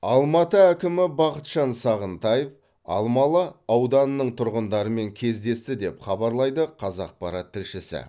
алматы әкімі бақытжан сағынтаев алмалы ауданының тұрғындарымен кездесті деп хабапрлайды қазақпарат тілшісі